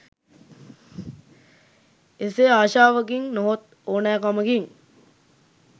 එසේ ආශාවකින් නොහොත් ඕනෑකමකින්